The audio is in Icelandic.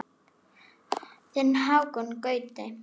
Þinn Hákon Gauti.